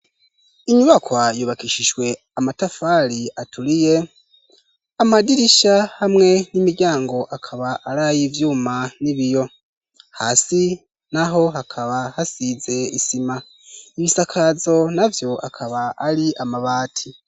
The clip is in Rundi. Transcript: Inyubaka yubakishijwe amatafari aturiye amadirisha hamwe n'imiryango akaba arayi ivyuma n'ibiyo hasi n'aho hakaba hasize isima ibisakazo navyo akaba ari amabati.